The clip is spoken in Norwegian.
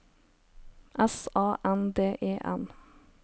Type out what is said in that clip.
S A N D E N